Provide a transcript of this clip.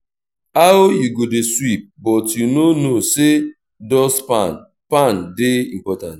how you go dey sweep but you no know say dust pan pan dey important?